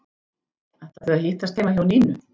Ætla þau að hittast heima hjá Nínu?